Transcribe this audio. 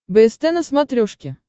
бст на смотрешке